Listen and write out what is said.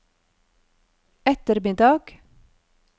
ettermiddag